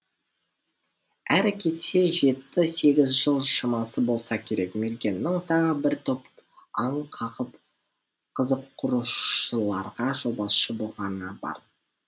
әрі кетсе жеті сегіз жыл шамасы болса керек мергеннің тағы бір топ аң қағып қызық қурушыларға жолбасшы болғаны бар